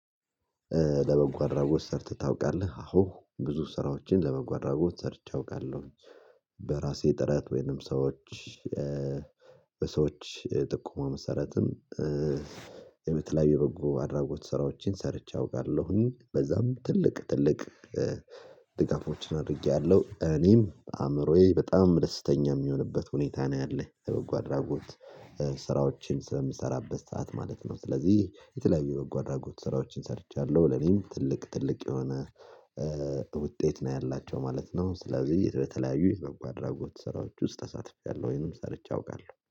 ለበጎ አድራጎት ሰርተህ ታውቃለህ? አሁን ብዙ ስራዎችን ለበጎ አድራጎት ሰርቼ አውቃለሁ። በራሴ ጥረት ወይንም ሰዎች በሰዎች ጥቆማ መሰረትም። የተለያዩ በጎ አድራጎት ስራዎችን ሰርቼ አውቃለሁኝ በዛም ትልቅ ትልቅ። አድርጌያለሁ እኔም አእምሮዬ በጣም ደስተኛ የሚሆንበት ሁኔታ ነው ያለኝ በበጎ አድራጎት ስራዎችን ስለምሰራበት ሰዓት ማለት ነው። ስለዚህ የተለያዩ የበጎ አድራጎት ስራዎችን ሰርቻለሁ። ለኔም ትልቅ ትልቅ የሆነ ውጤት ነው ያላቸው ማለት ነው። ስለዚህ እየተለያዩ የበጎ አድራጎት ስራዎች ውስጥ ተሳትፌያለሁ ወይንም ሰርቼ አውቃለሁ